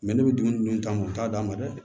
ne bɛ dumuni dun ta u t'a d'a ma dɛ